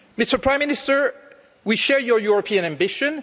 Mr Prime Minister, we share your European ambition.